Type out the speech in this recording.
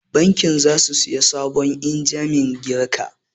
Bankin za su saya sabon injimin ƙirga